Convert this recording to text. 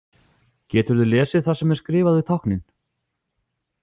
Geturðu lesið það sem er skrifað við táknin?